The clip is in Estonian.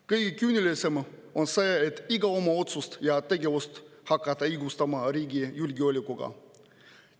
Kõige küünilisem on see, et iga oma otsust ja tegevust hakkate te õigustama riigi julgeolekuga.